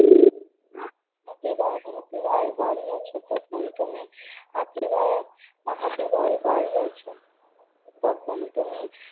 হাতি ভাই হাতি ভাই বাড়ি আছ? তখন টুনি হাতি ভাইয়ের হাতি ভাই বাড়ি আছ? তখন টুনি